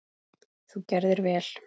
Þú gerðir vel!